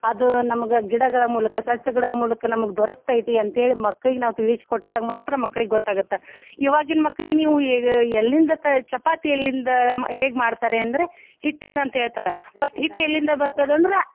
ಅದು ನಮಗ ಗಿಡಗಳ ಮೂಲಕ ಸಸ್ಯಗಳ ಮೂಲಕ ನಮಗ ದೊರಕ್ತೈತಿ ಅಂತ ಹೇಳಿ ಮಕ್ಕಳೀಗ ನಾವ್ ತಿಳ್ಸಿ ಕೊಟ್ಟಾಗ ಮಾತ್ರ ಮಕ್ಕಳಿಗ ಗೊತ್ತ ಆಗುತ್ತ ಇವಾಗಿನ ಮಕ್ಕಳೀಗ ನೀವ ಎ~ ಎಲ್ಲಿಂದ ಚಪಾತಿ ಎಲ್ಲಿಂದ ಹೇಗ ಮಾಡ್ತಾರೆ ಅಂದ್ರೆ ಹಿಟ್ಟಿಂದ ಅಂತ ಹೇಳತಾರ but ಹಿಟ್ಟ ಎಲ್ಲಿಂದ ಬರ್ತದ ಅಂದ್ರ.